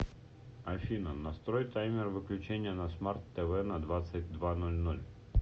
афина настрой таймер выключения на смарт тв на двадцать два ноль ноль